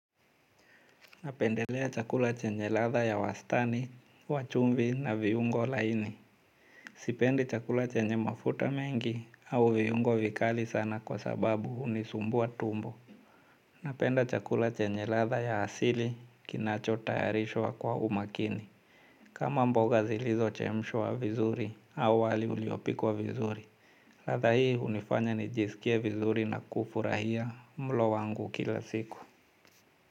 Napendelea chakula chenye ladha ya wastani, wa chumvi na viungo laini. Sipendi chakula chenye mafuta mengi au viungo vikali sana kwa sababu hunisumbua tumbo. Napenda chakula chenye ladha ya asili kinachotayarishwa kwa umakini. Kama mboga zilizochemshwa vizuri au wali uliopikwa vizuri. Ladha hii hunifanya nijisikie vizuri na kufurahia mlo wangu kila siku.